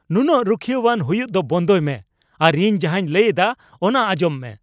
ᱱᱩᱱᱟᱹᱜ ᱨᱩᱠᱷᱤᱭᱟᱹᱣᱟᱱ ᱦᱩᱭᱩᱜ ᱫᱚ ᱵᱚᱱᱫᱚᱭ ᱢᱮ ᱟᱨ ᱤᱧ ᱡᱟᱦᱟᱧ ᱞᱟᱹᱭ ᱮᱫᱟ ᱚᱱᱟ ᱟᱸᱧᱡᱚᱢ ᱢᱮ ᱾